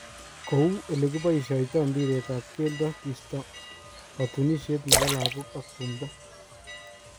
Kou elekipoishoito mbiret ab keldo kisto kotunoshet nebo lagok ak tumdo